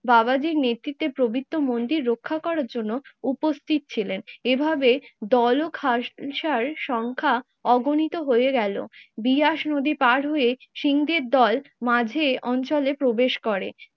বাবাজির নেতৃত্বে পবিত্র মন্দির রক্ষা করার জন্য উপস্থিত ছিলেন। এভাবে দল ও খাস সংখ্যা অগণিত হয়ে গেলো। বিয়াস নদী পার হয়ে সিং দের দল মাঝের অঞ্চলে প্রবেশ করে